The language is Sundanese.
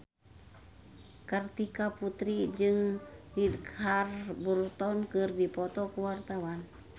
Kartika Putri jeung Richard Burton keur dipoto ku wartawan